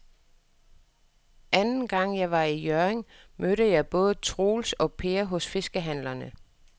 Anden gang jeg var i Hjørring, mødte jeg både Troels og Per hos fiskehandlerne.